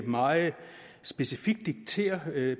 meget specifikt dikterer at